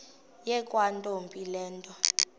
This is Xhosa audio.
yakwantombi le nto